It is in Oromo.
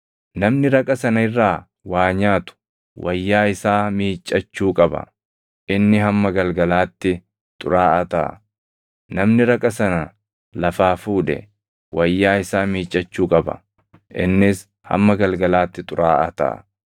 Namni raqa sana irraa waa nyaatu wayyaa isaa miiccachuu qaba; inni hamma galgalaatti xuraaʼaa taʼa. Namni raqa sana lafaa fuudhe wayyaa isaa miiccadhuu qaba; innis hamma galgalaatti xuraaʼaa taʼa.